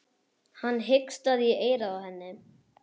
Hann hikstaði í eyrað á henni.